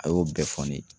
A y'o bɛɛ fɔ ne ye